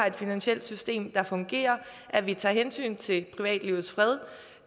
et finansielt system der fungerer og at vi tager hensyn til privatlivets fred